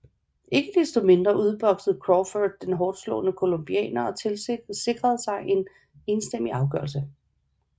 Ikke desto mindre udboksede Crawford den hårdtslående colombianer og sikrede sig en sejr enstemmig afgørelse